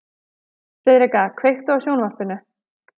Friðrika, kveiktu á sjónvarpinu.